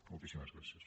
moltíssimes gràcies